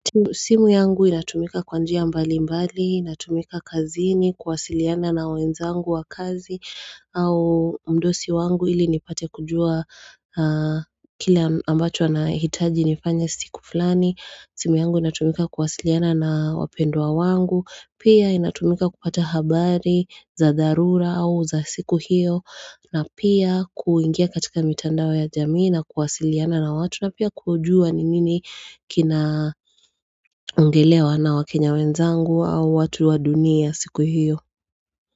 Simu yangu inatumika kwanjia mbali mbali, inatumika kazini, kuwasiliana na wenzangu wa kazi au mdosi wangu ili nipate kujua kile ambacho anahitaji nifanye siku fulani. Simu yangu inatumika kuwasiliana na wapendwa wangu, pia inatumika kupata habari za dharura au za siku hiyo. Na pia kuingia katika mitandao ya jamii na kuwasiliana na watu na pia kujua ni nini kinaongelewa na wakenya wenzangu au watu wa dunia siku hiyo.